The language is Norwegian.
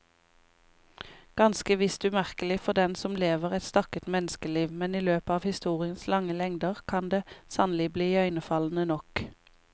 Ganske visst umerkelig for den som lever et stakket menneskeliv, men i løpet av historiens lange lengder kan det sannelig bli iøynefallende nok.